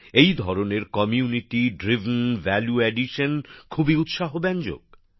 এই ধরনের সম্প্রদায়গত উদ্যোগের মাধ্যমে অতিরিক্ত ব্যবস্থাপনা খুবই উৎসাহব্যঞ্জক